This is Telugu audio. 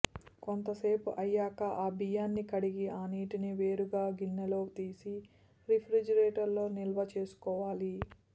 కొంత సేపు అయ్యాక ఆ బియ్యాన్ని కడిగి ఆ నీటిని వేరుగా గిన్నెలోకి తీసి రిఫ్రిజిరేటర్ లో నిల్వ చేసుకోవాలి